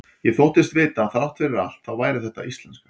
Ég þóttist vita að þrátt fyrir allt þá væri þetta íslenska.